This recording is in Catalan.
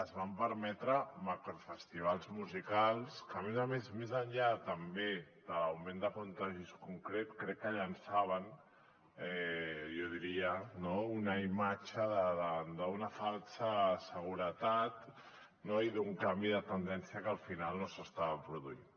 es van permetre macrofestivals musicals que a més a més més enllà també de l’augment de contagis concret crec que llençaven jo diria no una imatge d’una falsa seguretat i d’un canvi de tendència que al final no s’estava produint